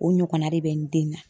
O ɲɔgɔnna de bɛ n den na